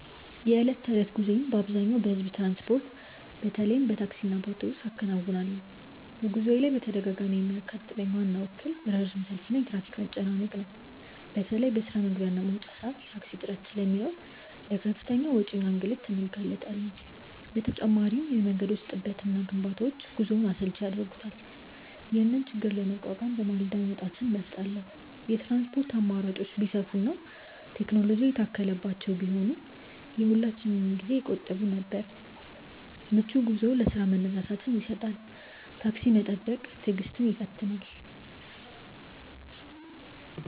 የዕለት ተዕለት ጉዞዬን በአብዛኛው በሕዝብ ትራንስፖርት፣ በተለይም በታክሲና በአውቶቡስ አከናውናለሁ። በጉዞዬ ላይ በተደጋጋሚ የሚያጋጥመኝ ዋናው እክል ረጅም ሰልፍና የትራፊክ መጨናነቅ ነው። በተለይ በስራ መግቢያና መውጫ ሰዓት የታክሲ እጥረት ስለሚኖር ለከፍተኛ ወጪና ለእንግልት እንጋለጣለን። በተጨማሪም የመንገዶች ጥበትና ግንባታዎች ጉዞውን አሰልቺ ያደርጉታል። ይህንን ችግር ለመቋቋም በማለዳ መውጣትን እመርጣለሁ። የትራንስፖርት አማራጮች ቢሰፉና ቴክኖሎጂ የታከለባቸው ቢሆኑ የሁላችንንም ጊዜ ይቆጥቡ ነበር። ምቹ ጉዞ ለስራ መነሳሳትን ይሰጣል። ታክሲ መጠበቅ ትዕግስትን ይፈትናል።